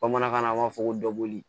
Bamanankan na an b'a fɔ ko dɔkɔli